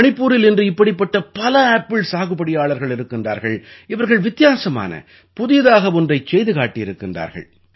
மணிபூரில் இன்று இப்படிப்பட்ட பல ஆப்பிள் சாகுபடியாளர்கள் இருக்கின்றார்கள் இவர்கள் வித்தியாசமான புதியதாக ஒன்றை செய்து காட்டியிருக்கின்றார்கள்